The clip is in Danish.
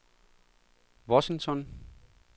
Washington